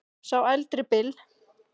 Sá eldri Bill.